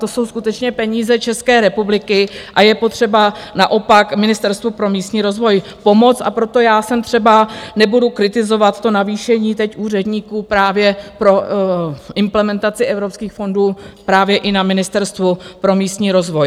To jsou skutečně peníze České republiky a je potřeba naopak Ministerstvu pro místní rozvoj pomoct a proto já jsem třeba, nebudu kritizovat to navýšení teď úředníků právě pro implementaci evropských fondů právě i na Ministerstvu pro místní rozvoj.